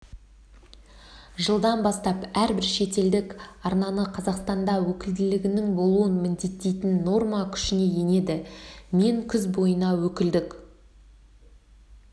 жылдан бастап әрбір шетелдік арнаны қазақстанда өкілдігінің болуын міндеттейтін норма күшіне енеді мен күз бойына өкілдік